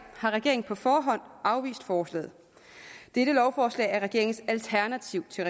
har regeringen på forhånd afvist forslaget dette lovforslag er regeringens alternativ til